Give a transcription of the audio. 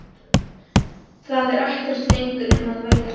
Það er ekkert lengur um að velja.